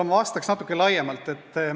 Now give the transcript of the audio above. Ma vastaks natukene laiemalt.